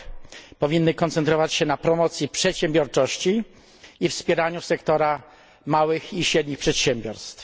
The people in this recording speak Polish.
r. powinny koncentrować się na promocji przedsiębiorczości i wspieraniu sektora małych i średnich przedsiębiorstw.